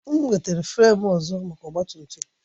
M wetara fremu ọzọ maka ọgba tum tum